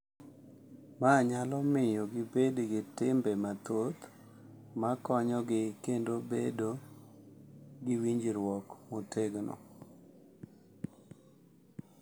Ma nyalo miyo gibed gi timbe mathoth ma konyogi kendo bedo gi winjruok motegno.